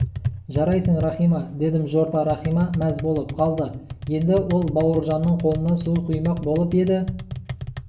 жарайсың рахима дедім жорта рахима мәз болып қалды еңді ол бауыржанның қолына су құймақ болып еді